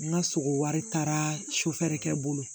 N ka sogo wari taara sufɛla kɛ bolo